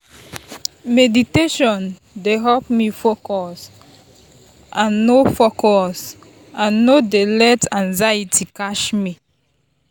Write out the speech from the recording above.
meditation dey help me focus and no focus and no dey let anxiety catch me.